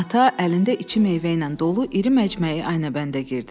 Ata əlində içi meyvə ilə dolu iri məcməyi Aynəbəndə girdi.